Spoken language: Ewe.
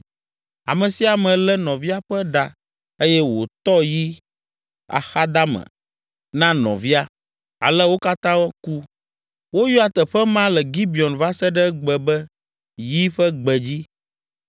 Ame sia ame lé nɔvia ƒe ɖa eye wòtɔ yi axadame na nɔvia. Ale wo katã ku. Woyɔa teƒe ma le Gibeon va se ɖe egbe be “Yi ƒe gbedzi.”